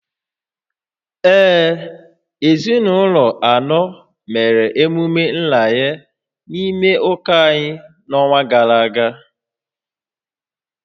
Ee, ezinụlọ anọ mere emume nranye n’ime ụka anyị n’ọnwa gara aga